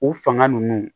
O fanga ninnu